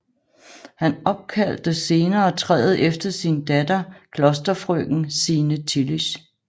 Han opkaldte senere træet efter sin datter klosterfrøken Signe Tillisch